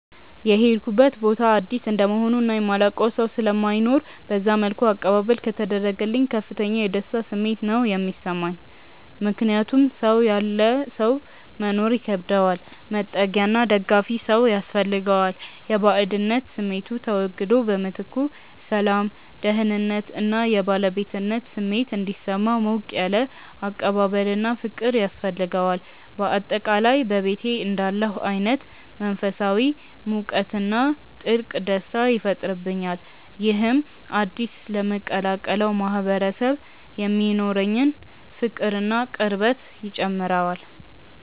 የሄድኩበት ቦታ አዲስ እንደመሆኑ እና የማላውቀው ሰው ስለማይኖር በዛ መልኩ አቀባበል ከተደረገልኝ ከፍተኛ የደስታ ስሜት ነው የሚሰማኝ። ምክንያቱም ሰው ያለ ሰው መኖር ይከብደዋል፤ መጠጊያና ደጋፊ ሰው ያስፈልገዋል። የባዕድነት ስሜቱ ተወግዶ በምትኩ ሰላም፣ ደህንነት እና የባለቤትነት ስሜት እንዲሰማው ሞቅ ያለ አቀባበልና ፍቅር ያስፈልገዋል። በአጠቃላይ በቤቴ እንዳለሁ አይነት መንፈሳዊ ሙቀትና ጥልቅ ደስታ ይፈጥርብኛል። ይህም አዲስ ለምቀላቀለው ማህበረሰብ የሚኖረኝን ፍቅርና ቅርበት ይጨምረዋል።